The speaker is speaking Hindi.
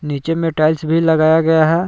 नीचे में टाइल्स भी लगाया गया है।